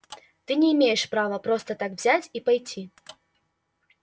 ты не имеешь права просто так взять и пойти